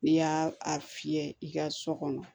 N'i y'a fiyɛ i ka so kɔnɔ